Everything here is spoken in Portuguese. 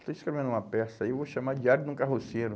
Eu estou escrevendo uma peça e vou chamar o diário de um carroceiro.